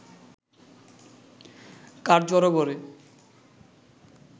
কাঠ জড়ো করে